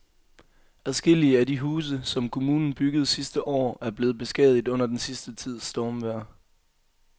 Adskillige af de huse, som kommunen byggede sidste år, er blevet beskadiget under den sidste tids stormvejr.